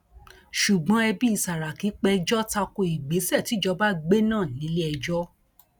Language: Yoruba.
ṣùgbọn ẹbí sàràkí péjọ ta ko ìgbésẹ tíjọba gbé náà nílẹẹjọ